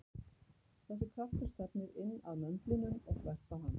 Þessi kraftur stefnir inn að möndlinum og þvert á hann.